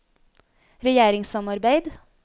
regjeringssamarbeid